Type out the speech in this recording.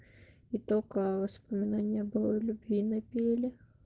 и только воспоминания былой любви напели